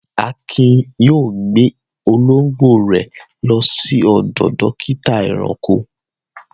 Akin yóò gbé olóńgbò rẹ̀ lọ sí ọ̀dọ̀ dọ́kítá ẹranko.